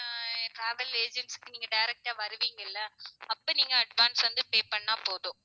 அஹ் travel agency க்கு நீங்க direct ஆ வருவீங்க இல்ல அப்ப நீங்க advance வந்து pay பண்ணா போதும்